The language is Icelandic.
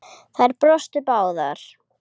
Þær brostu báðar.